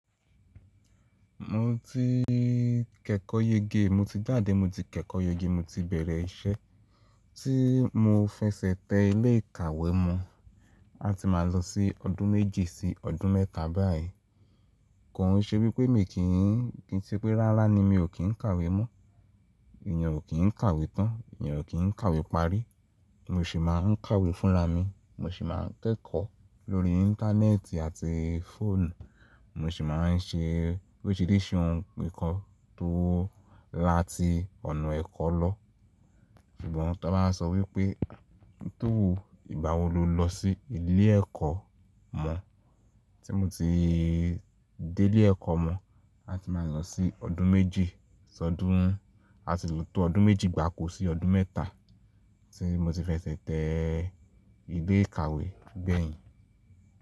Mo ti kẹ́kọ̀ọ́ yege, mo ti jáde, mo ti kẹ́kọ̀ọ́ yege, mo ti bẹ̀rẹ̀ iṣẹ́ tí mo fẹsẹ̀ tẹ ilé ìkàwé mọ̀, a ti máa lọ sí ọdún méjì sí ọdún mẹ́ta báyìí. Kò ń ṣe wípé mi kì í, kí i ṣe pé rárá ni mi ò kí ń kàwé mó, èèyàn ò kí ń kàwé tán, èèyàn ò kí ń kàwé parí. Mo sì máa ń kàwé fúnra mi, mo sì máa ń kẹ́kọ̀ọ́ lórí Íńtánẹ́ẹ̀tì àti fóònù, mo sì máa ń ṣe oríṣìíríṣìí ohun nìkan tó láti ọ̀nà ẹ̀kọ́ lọ. Ṣùgbọ́n tá bá ń sọ wípé tó wu ìgbà wo lo lọ sí ilé ẹ̀kọ́ mọ? Tí mo ti dé ilé ẹ̀kọ́ mọ̀, a ti máa lọ sí ọdún méjì, ṣọdún, a ti ló tó ọdún méjì gbàko sí ọdún mẹ́ta tí mo ti fẹsẹ̀ tẹ ilé ìkàwé gbẹ̀yìn.